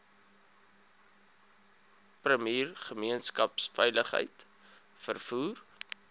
premier gemeenskapsveiligheid vervoer